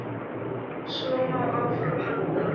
Svo má áfram halda.